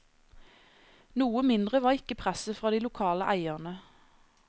Noe mindre var ikke presset fra de lokale eierne.